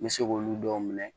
N bɛ se k'olu dɔw minɛ